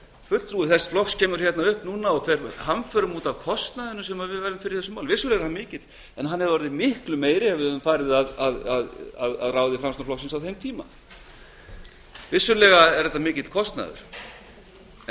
fulltrúi þess flokks kemur nú hingað upp og fer hamförum út af kostnaðinum sem við verðum fyrir í þessu máli hann er vissulega mikill en hann hefði orðið miklu meiri ef við hefðum farið að ráði framsóknarflokksins á þeim tíma þetta er vissulega mikill kostnaður en